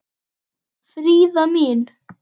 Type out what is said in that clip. Fríða mín.